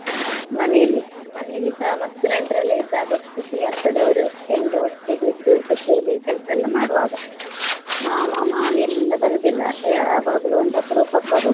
ಮನೆಯಲ್ಲಿ. ಮನೆಯಲ್ಲಿಸಾ ಮಸ್ತ್ ನೆಂಟ್ರೆಲ್ಲ ಇದ್ದಾಗ ಖುಷಿ ಆಗ್ತದೆ ಅವ್ರು ಎಲ್ರೂ ಒಟ್ಟಿಗೆ ಇದ್ದು ಖುಷಿಯಲ್ಲಿ ಕೆಲ್ಸ ಎಲ್ಲ ಮಾಡುವಾಗ ಮಾವ ಮಾಮಿ ಎಲ್ಲ ಬರುದಿಲ್ಲ ಎ~ ಯಾವಾಗ್ಲೋ ಒಂದ್ ಅಪರೂಪಕ್ ಬರುದು.